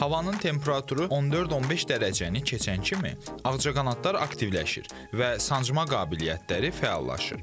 Havanın temperaturu 14-15 dərəcəni keçən kimi ağcaqanadlar aktivləşir və sancma qabiliyyətləri fəallaşır.